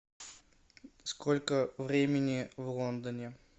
сколько времени в лондоне